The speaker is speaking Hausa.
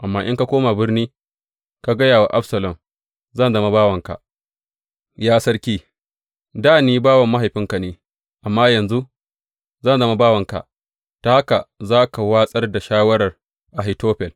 Amma in ka koma birni, ka gaya wa Absalom, Zan zama bawanka, ya sarki; dā ni bawan mahaifinka ne, amma yanzu zan zama bawanka,’ ta haka za ka watsar da shawarar Ahitofel.